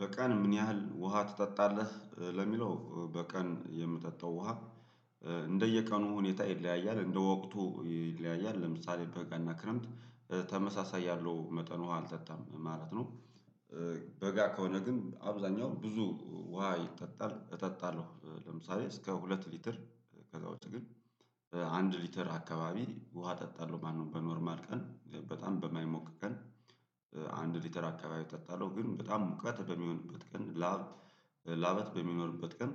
በቀን ምን ያህል ውሃ ትጠጣለ? ለሚለው በቀን የምጠጣው ውሃ እንደየቀኑ ሁኔታ ይለያያል እንደወቅቱ ይለያያል ለምሳሌ በጋ እና ክረምት ተመሳሳይ ያለው መጠን ውሃ አልጠጣም ማለት ነው፤ በጋ ከሆነ ግን አብዛኛው ብዙ ውሃ ይጠጣል እጠጣለሁ ለምሳሌ እስከ ሁለት ሊትር ከዛ ውጪ ግን አንድ ሊትር አካባቢ ውሃ እጠጣለሁ ማለት ነው በኖርማል ቀን በጣም በማይሞቅ ቀን አንድ ሊትር አካባቢ እጠጣለሁ ግን በጣም ሙቀት በሚሆንበት ቀን ላብ ላበት በሚኖርበት ቀን